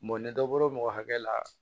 ni dɔ bɔra mɔgɔ hakɛ la